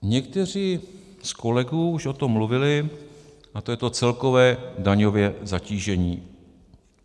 Někteří z kolegů už o tom mluvili, a to je to celkové daňové zatížení.